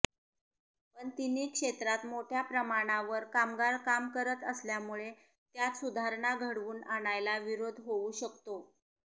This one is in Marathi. पण तिन्ही क्षेत्रांत मोठ्या प्रमाणावर कामगार कामकरत असल्यामुळे त्यात सुधारणा घडवून आणायला विरोध होऊ शकतो